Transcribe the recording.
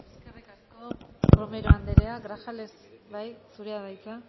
eskerrik asko romero anderea grajales bai zurea da hitza